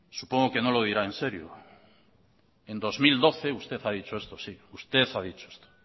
supongo que no lo dirá enserio en dos mil doce usted ha dicho esto sí usted ha dicho esto